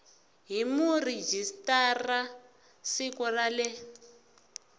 hi murhijisitara siku ra le